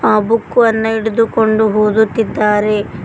ಆ ಬುಕ್ ವನ್ನು ಹಿಡಿದುಕೊಂಡು ಓದುತ್ತಿದ್ದಾರೆ.